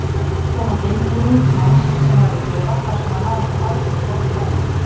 Gat kom á geimbúning manns sem var í klefa þar sem var nánast algjört lofttæmi.